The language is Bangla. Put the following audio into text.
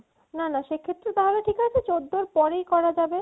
না না সেক্ষেত্রে তাহলে ঠিক আছে চৌদ্দর পরেই করা যাবে